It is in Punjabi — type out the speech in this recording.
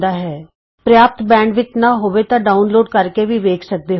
ਜੇ ਤੁਹਾਡੇ ਕੋਲ ਪ੍ਰਯਾਪਤ ਬੈਂਡਵਿੱਥ ਨਾਂ ਹੋਵੇ ਤਾਂ ਤੁਸੀਂ ਇਸ ਨੂੰ ਡਾਊਨਲੋਡ ਕਰਕੇ ਵੀ ਦੇਖ ਸਕਦੇ ਹੋ